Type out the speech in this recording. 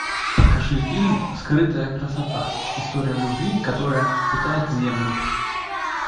покажи фильм скрытая красота история любви которая питает землю